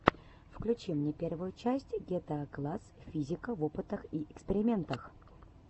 включи мне первую часть гетаакласс физика в опытах и экспериментах